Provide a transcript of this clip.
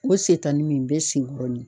O sentani min bɛ sen kɔnɔni.